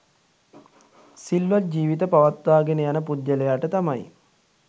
සිල්වත් ජීවිත පවත්වාගෙන යන පුද්ගලයාට තමයි